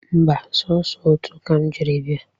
Mba, sọsọ otu ka m jiri bịa